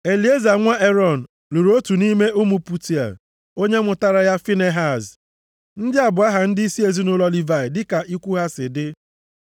Elieza, nwa Erọn lụrụ otu nʼime ụmụ Putiel, onye mụtaara ya Finehaz. Ndị a bụ aha ndịisi ezinaụlọ Livayị dịka ikwu ha si dị.